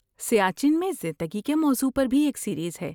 سیاچن میں زندگی کے موضوع پر بھی ایک سیریز ہے۔